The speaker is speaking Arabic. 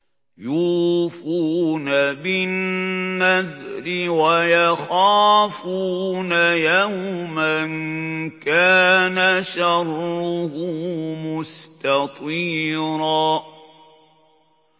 يُوفُونَ بِالنَّذْرِ وَيَخَافُونَ يَوْمًا كَانَ شَرُّهُ مُسْتَطِيرًا